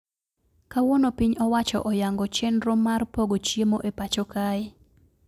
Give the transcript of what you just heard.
Kawuono piny owacho oyango chendro mar pogo chiemo e pacho kae